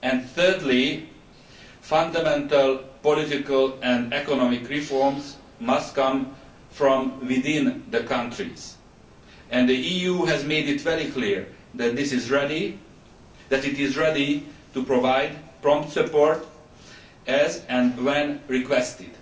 thirdly, fundamental political and economic reforms must come from within the countries, and the EU has made it very clear that it is ready to provide prompt support as and when requested.